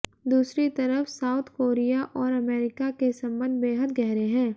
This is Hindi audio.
दूसरी तरफ साउथ कोरिया और अमेरिका के संबंध बेहद गहरे हैं